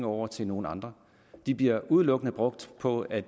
over til nogle andre de bliver udelukkende brugt på at